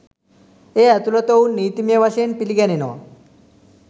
එය ඇතුලත ඔවුන් නීතිමය වශයෙන් පිළිගැනෙනවා.